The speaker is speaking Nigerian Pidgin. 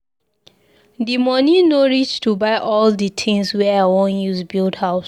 Di moni no reach to buy all di tins wey I wan use build house.